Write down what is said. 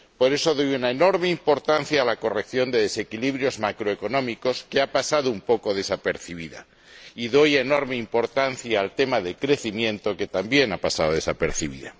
Por eso doy una enorme importancia a la corrección de desequilibrios macroeconómicos, que ha pasado un poco desapercibida, y doy una enorme importancia al tema del crecimiento, que también ha pasado desapercibido.